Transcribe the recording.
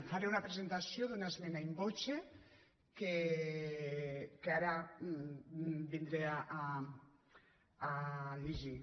faré una presentació d’una esmena in voce que ara vindré a llegir